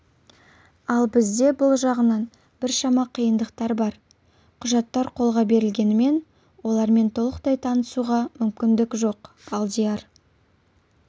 ал бізде бұл жағынан біршама қиындықтар бар құжаттар қолға берілгенімен олармен толықтай танысуға мүмкіндік жоқ алдияр